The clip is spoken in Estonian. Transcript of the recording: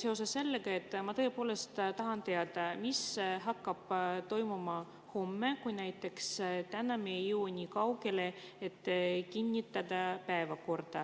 seoses sellega, et ma tõepoolest tahan teada, mis hakkab toimuma homme, kui me näiteks täna ei jõua nii kaugele, et kinnitada päevakord.